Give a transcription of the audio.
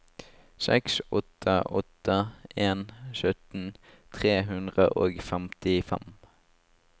seks åtte åtte en sytten tre hundre og femtifem